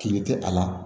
Kili tɛ a la